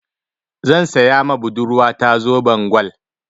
Zan saya ma budurwa ta zoben gwal.